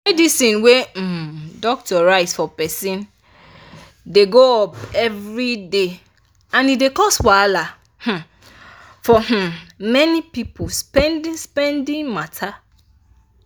medicine wey um doctor write for person dey go-up everyday and e dey cos wahala um for um many people spendi-spendi matter.